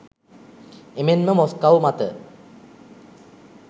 එමෙන්ම මොස්කව් මත